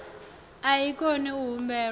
a i koni u humbelwa